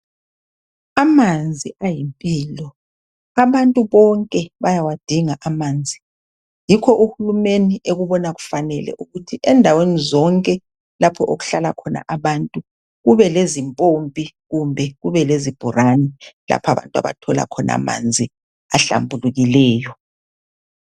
Amanzi ayimpilo, abantu bonke bayawadinga amanzi. Yikho uhulumeni ekubona kufanele ukuthi endaweni zonke lapho okuhlala khona abantu kube lezimpompi kumbe kube lezibhorane lapho abantu abathola khona amanzi ahlambulukileyo